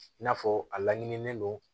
I n'a fɔ a laɲininen don